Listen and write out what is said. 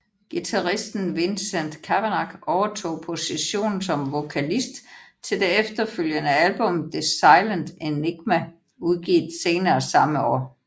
Guitaristen Vincent Cavanagh overtog positionen som vokalist til det efterfølgende album The Silent Enigma udgivet senere samme år